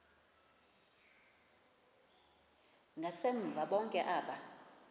ngasemva bonke aba